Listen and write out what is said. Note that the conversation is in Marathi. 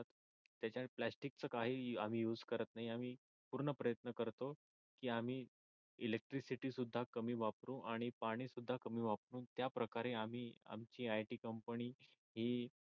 त्याच्यात प्लॅस्टिक च काही आम्ही युज करत नाही आम्ही पूर्ण प्रयत्न करतो की आम्ही इलेक्ट्रिसिटी सुध्दा कमी वापरू आणि पाणी सुद्धा कमी वापरू त्या प्रकारे आम्ही आमची IT कंपनी ही